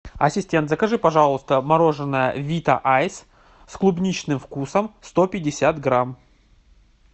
ассистент закажи пожалуйста мороженое вита айс с клубничным вкусом сто пятьдесят грамм